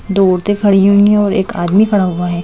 दो औरतें खड़ी हुई हैं और एक आदमी खड़ा हुआ है।